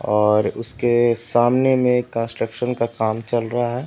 और उसके सामने में कंस्ट्रक्शन का काम चल रहा है।